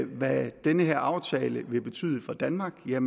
hvad den her aftale vil betyde for danmark vil jeg